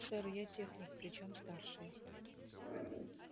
сэр я техник причём старший